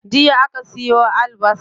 Jiya aka siyo albasar.